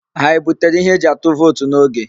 Ha ebutere ihe eji atụ vootu n'oge?